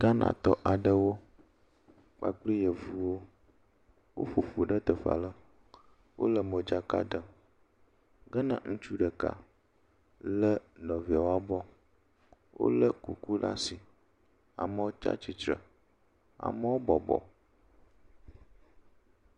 Ghanatɔ aɖewo kpakple yevuwo woƒoƒu ɖe teƒe aɖe. Wole modzaka ɖem. Ke ne ŋutsu ɖeka le nɔvia ƒe abɔ wole kuku ɖe asi. Amewo tsi atsitre, amewo bɔbɔ.